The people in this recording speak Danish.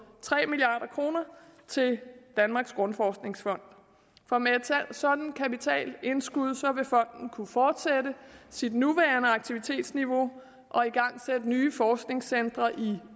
tre milliard kroner til danmarks grundforskningsfond for med sådan et kapitalindskud vil fonden kunne fortsætte sit nuværende aktivitetsniveau og igangsætte nye forskningscentre i